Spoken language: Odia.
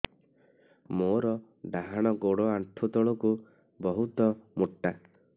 ମୋର ଡାହାଣ ଗୋଡ ଆଣ୍ଠୁ ତଳୁକୁ ବହୁତ ମୋଟା